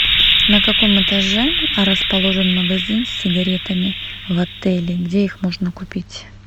на каком этаже расположен магазин с сигаретами в отеле где их можно купить